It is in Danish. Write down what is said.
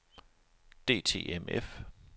DTMF